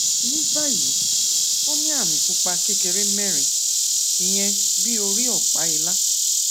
ní báyìí ó ní àmì pupa kékeré mérin ìyẹn bí orí òpá ìlà